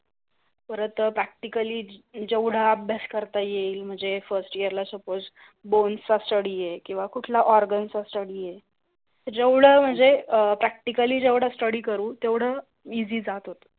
परत प्रॅक्टिकलली जेवढा अभ्यास करता येईल म्हणजे फर्स्ट इयरला suppose bones study आहे किंवा कुठला organs study आहे, जेवढा मंजे अं प्रॅक्टिकलली जेवढा स्टडी करू तेवडा इसि जात होथो.